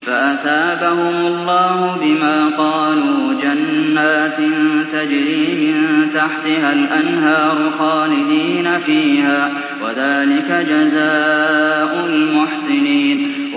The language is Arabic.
فَأَثَابَهُمُ اللَّهُ بِمَا قَالُوا جَنَّاتٍ تَجْرِي مِن تَحْتِهَا الْأَنْهَارُ خَالِدِينَ فِيهَا ۚ وَذَٰلِكَ جَزَاءُ الْمُحْسِنِينَ